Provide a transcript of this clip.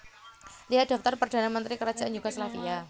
Lihat Daftar Perdana Menteri Kerajaan Yugoslavia